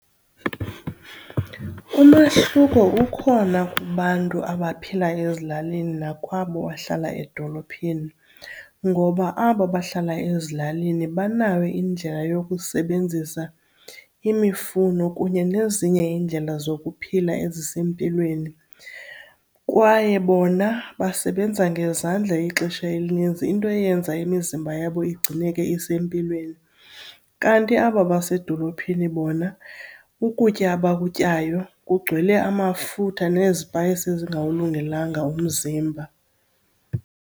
Umahluko ukhona kubantu abaphila ezilalini nakwabo bahlala edolophini. Ngoba abo bahlala ezilalini banayo indlela yokusebenzisa imifuno kunye nezinye iindlela zokuphila ezisempilweni kwaye bona basebenza ngezandla ixesha elininzi into eyenza imizimba yabo igcineke isempilweni. Kanti aba basedolophini bona ukutya abakutyayo kugcwele amafutha nezipayisi ezingawulungelanga umzimba.